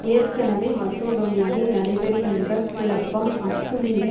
ஏற்கெனவே மசடோனியாவில் நடைபெறுகின்ற குழப்பம் அத்து மீறி